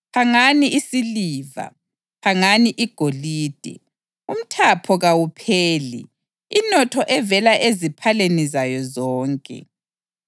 Phangani isiliva! Phangani igolide! Umthapho kawupheli, inotho evela eziphaleni zayo zonke!